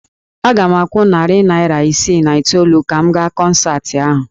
Aga m akwụ narị naira isii na itoolu ka m gaa kọnsaatị ahụ